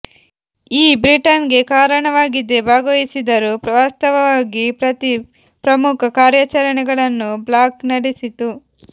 ಈ ಬ್ರಿಟನ್ ಗೆ ಕಾರಣವಾಗಿದೆ ಭಾಗವಹಿಸಿದರು ವಾಸ್ತವವಾಗಿ ಪ್ರತಿ ಪ್ರಮುಖ ಕಾರ್ಯಾಚರಣೆಗಳನ್ನು ಬ್ಲಾಕ್ ನಡೆಸಿತು